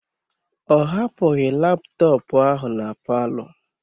O hapụghị laptọọpụ ahụ na palọ.